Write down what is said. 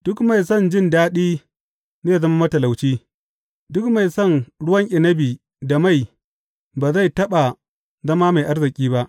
Duk mai son jin daɗi zai zama matalauci; duk mai son ruwan inabi da mai ba zai taɓa zama mai arziki ba.